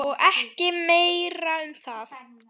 Og ekki meira um það!